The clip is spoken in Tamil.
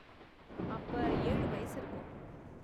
அப்ப ஏழு வயசு இருக்கும்.